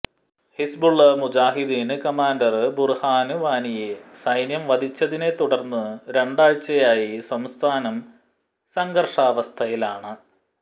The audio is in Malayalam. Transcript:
ഹിസ്ബുള് മുജാഹിദ്ദീന് കമാന്ഡര് ബുര്ഹാന് വാനിയെ ൈസന്യം വധിച്ചതിനെത്തുടര്ന്ന് രണ്ടാഴ്ചയായി സംസ്ഥാനം സംഘര്ഷാവസ്ഥയിലാണ്